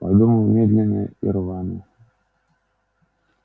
подумал медленно и рвано